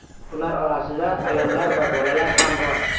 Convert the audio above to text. Ular orasida ayollar va bolalar ham bor.